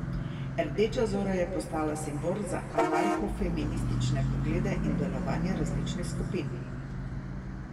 Rdeča Zora je postala simbol za anarhofeministične poglede in delovanje različnih skupin.